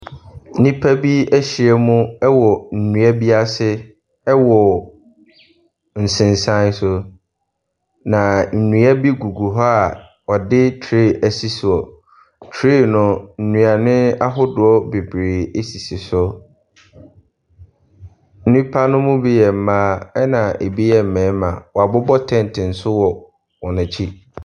Nnipa bi ahyia mu wɔ nnua bi ase ɛwɔ nsensanso. Na nnua bi gugu hɔ a wɔde tray ɛsi soɔ. Na tray no, nnuane ahodoɔ bebreebe esisi so. Nnipa no bi yɛ mmaa ɛna ebi yɛ mmarima. Woabobɔ tent nso wɔ wɔn akyi.